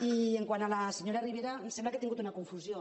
i quant a la senyora rivera em sembla que ha tingut una confusió